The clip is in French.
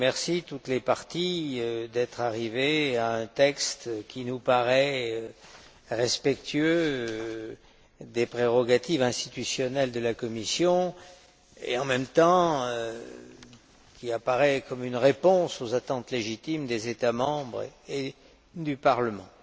Deprez. Je remercie toutes les parties d'être arrivées à un texte qui nous paraît respectueux des prérogatives institutionnelles de la Commission et, en même temps, qui apparaît comme une réponse aux attentes légitimes des États membres et du Parlement.